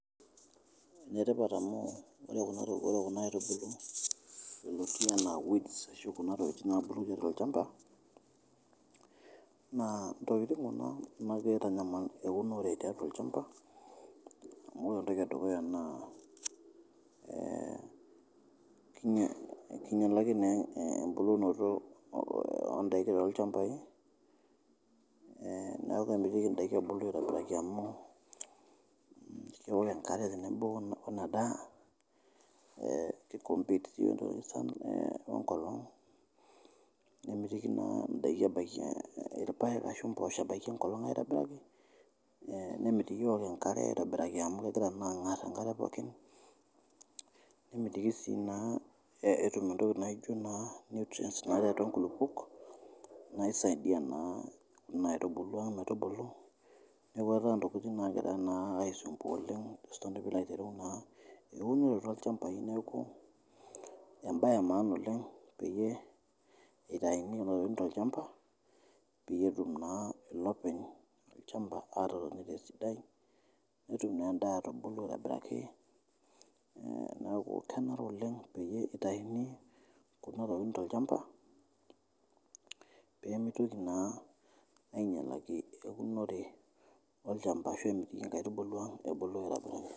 Netipat amuu ore kuna aitubuluu yeloti anaa weeds ashu kuna tokitin oshi naapuroki olchamba naa ntokitin kuna naapo aitanyamal eunore tiatua olchamba amu ore entohi edukuya naa keinyalaki naa empukunoto oondaki too lchambai, neaku emitiki indaki ebulu aitobiraki amuu ore enkare teneibung' enadaa naa kei compete onkolong nemitiki naa endaki ebaki olpaek asho mposho ebaki enkolong aitobiraki nemitiki eok enkare aitobiraki, amu kegira naa aang'ar enkare pookin, nemitiki sii naa etum entoki naijo naa nutrient naaretu inkulupok naisaidia naa kuna aitubulu metubulu, neaku etaa naa ntokitin naagira aisumbuaa oleng ajo sii nanu pilo aitereu naa eunore olchambai, neaku embaye emaana oleng peyir eitaiyuni nena tokitin to lchamba peyie etum naa ilopeny lchamba anoto ntoki sidai, netum naaa indaaa aitubulu aitobiraki neaku kenare oleng peiye eiteyuni kuna tokitin te lchamba pemeitoki naa ainyalaki eunore olchamba ashu inkaitubulu ebulu aitobiraki.